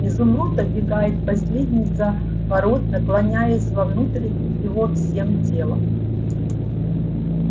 изумруд обегает последний заворот наклоняясь вовнутрь его всем телом